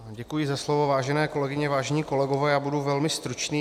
Děkuji za slovo, vážené kolegyně, vážení kolegové, já budu velmi stručný.